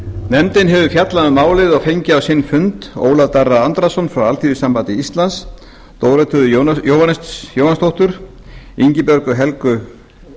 nefndin hefur fjallað um málið og fengið á sinn fund ólaf darra andrason frá alþýðusambandi íslands dórotheu jóhannsdóttir ingibjörgu helgu